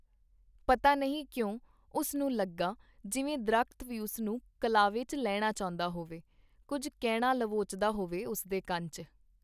ਪਤਾ ਨਹੀ ਕਿਉਂ , ਉਸਨੂੰ ਲੱਗਾ ਜਿਵੇ ਦਰਖ਼ਤ ਵੀ ਉਸਨੂੰ ਕਲਾਵੇ ਚ ਲੈਣਾ ਚਾਹੁੰਦਾ ਹੋਵੇ , ਕੁੱਝ ਕਹਿਣਾ ਲਵੋਚਦਾ ਹੋਵੇ ਉਸ ਦੇ ਕੰਨ ਚ .